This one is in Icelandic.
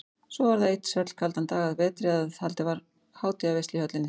Svo var það einn svellkaldan dag að vetri að haldin var hátíðarveisla í höllinni.